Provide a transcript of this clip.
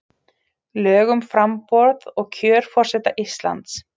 Lög um framboð og kjör forseta Íslands.